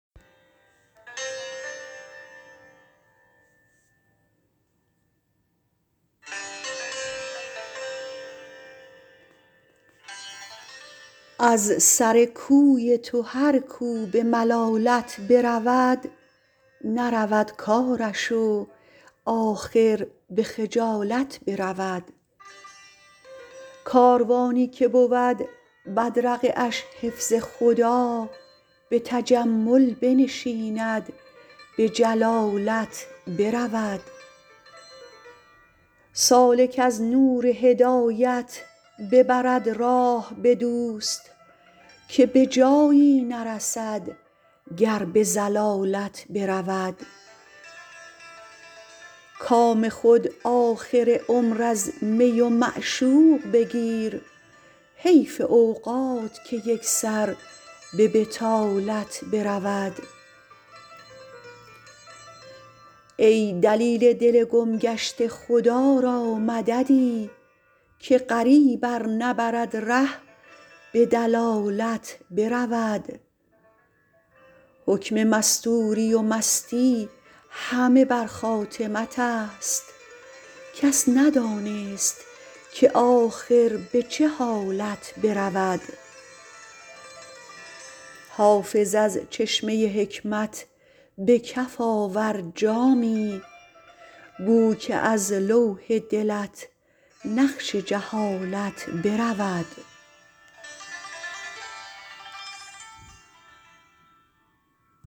از سر کوی تو هر کو به ملالت برود نرود کارش و آخر به خجالت برود کاروانی که بود بدرقه اش حفظ خدا به تجمل بنشیند به جلالت برود سالک از نور هدایت ببرد راه به دوست که به جایی نرسد گر به ضلالت برود کام خود آخر عمر از می و معشوق بگیر حیف اوقات که یک سر به بطالت برود ای دلیل دل گم گشته خدا را مددی که غریب ار نبرد ره به دلالت برود حکم مستوری و مستی همه بر خاتمت است کس ندانست که آخر به چه حالت برود حافظ از چشمه حکمت به کف آور جامی بو که از لوح دلت نقش جهالت برود